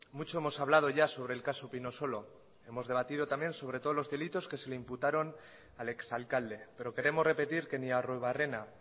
mucho hemos hablado ya sobre el caso pinosolo hemos debatido también sobre todos los delitos que se le imputaron al ex alcalde pero queremos repetir que ni arruebarrena